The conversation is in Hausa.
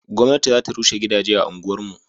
gwamnati za ta rushe gidaje a unguwar mu